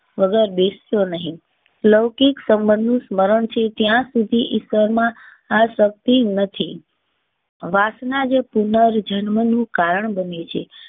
વગર બેસ તો નહીં. લૌકિક સંબંધનું સ્મરણ છે ત્યાં સુધી ઈશ્વર માં આસક્તિ નથી. વાસણા જે પુનર્જન્મ નું કારણ બને છે